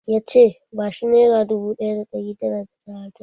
Ya ce 'Ba shi nera dubu ɗaya da ɗari tara da talatin'!